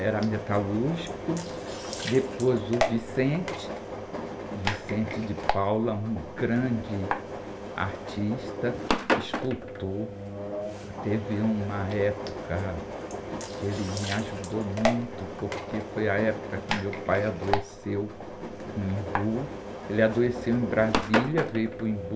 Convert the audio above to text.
era metalúrgico, depois o,, um grande artista, escultor, teve uma época que ele me ajudou muito, porque foi a época que meu pai adoeceu no Embu, ele adoeceu em Brasília, veio para o Embu,